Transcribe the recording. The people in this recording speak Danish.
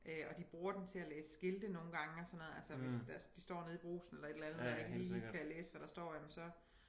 Og de bruger den til at læse skilte nogle gange og sådan noget altså hvis de står nede i Brugsen eller et eller andet og ikke lige kan læse hvad der står jamen så